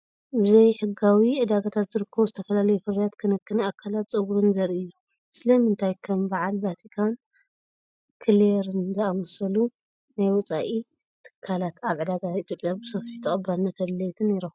ብ ዘይሕጋዊ ዕዳጋታት ዝርከቡ ዝተፈላለዩ ፍርያት ክንክን ኣካላትን ጸጉርን ዘርኢ እዩ። ስለምንታይ ከም በዓል ቫቲካን ክሌርን ዝኣመሰሉ ናይ ወጻኢ ትካላት ኣብ ዕዳጋታት ኢትዮጵያ ብሰፊሑ ተቐባልነትን ተደለይትን ይረኽቡ?